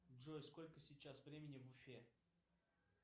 джой сколько сейчас времени в уфе